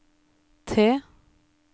T